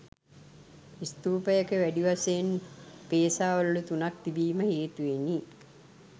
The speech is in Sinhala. ස්තූපයක වැඩි වශයෙන් පේසා වළලු තුනක් තිබීම හේතුවෙනි.